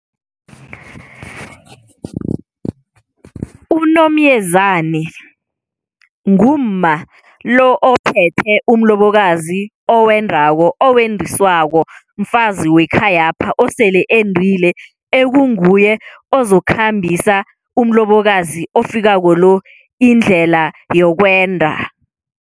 UNomyezani ngumma lo ophethe umlobokazi owendako owendiswako, mfazi wekhayapha osele endile ekunguye ozokukhambisa umlobokazi ofikako lo indlela yokwenda.